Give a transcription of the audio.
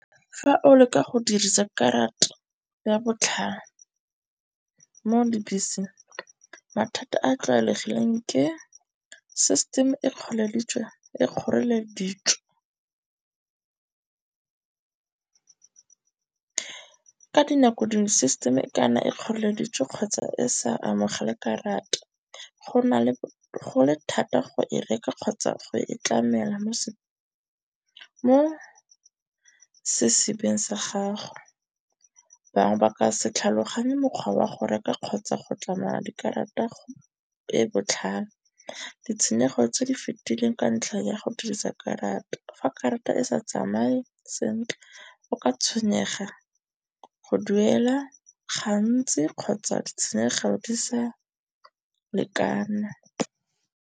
Fa o leka go dirisa karata ya botlhaba mo dibeseng. Mathata a a tlwaelegileng ke system e e kgololeditswe ka dinako dingwe system kana e kgoloeleditswe kgotsa e sa amogele karata. Go na le go le thata go e reka kgotsa go e tlamela mo mo sa gago. Bangwe ba ka se tlhaloganye mokgwa wa go reka kgotsa go tlamela dikarate e botlhale. Ditshenyego tse di fetileng ka ntlha ya go dirisa karata. Fa karata e sa tsamaye sentle o ka tshwenyega go duela gantsi kgotsa ditshenyegelo di sa lekana.